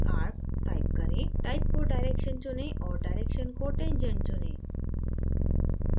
type को direction चुनें और direction को tangent चुनें